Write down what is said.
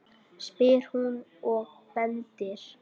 spyr hún og bendir.